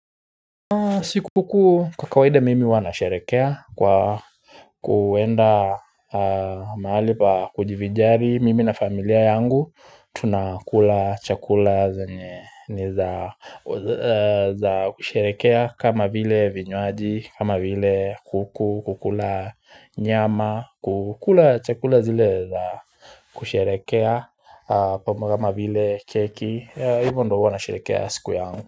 Sikukuu kwa kawaida mimi hua nasherehekea kwa kuenda mahali pa kujivijari mimi na familia yangu tunakula chakula zenye niza kusherekea kama vile vinywaji kama vile kuku kukula nyama kukula chakula zile za kusherehekea kama vile keki hivyo ndo hua nasherehekea siku yangu.